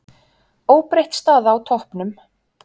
Óbreytt staða á toppnum